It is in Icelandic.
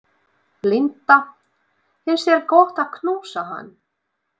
Linda: Finnst þér gott að knúsa hann?